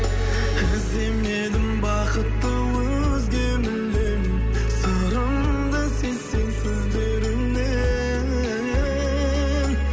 іздемедім бақытты өзге мүлдем сырымды сезсең сөздерімнен